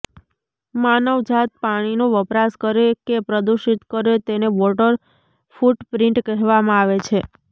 માનવજાત પાણીનો વપરાશ કરે કે પ્રદુષિત કરે તેને વોટર ફુટપ્રિન્ટ કહેવામાં આવે છે